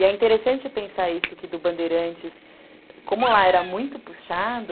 E é interessante pensar isso que do Bandeirantes, como lá era muito puxado,